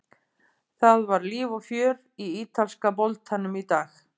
Það var líf og fjör í ítalska boltanum í dag.